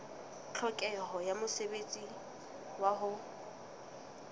tlhokeho ya mosebetsi wa ho